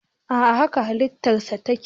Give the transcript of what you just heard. a'a haka halittarsa take